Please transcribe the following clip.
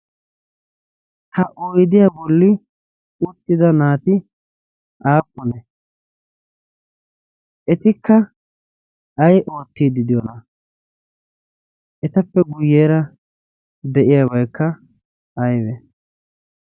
ha oydiyaa bolli uttida naati aaqqune etikka ay oottiiddi de'iyoona? etappe guyyeera de'iyaabaykka aybe